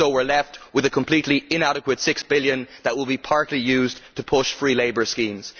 So we are left with a completely inadequate six billion that will be partly used to push free labour schemes.